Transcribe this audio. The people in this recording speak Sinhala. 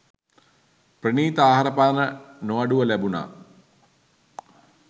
ප්‍රණීත ආහාරපාන නොඅඩුව ලැබුණා.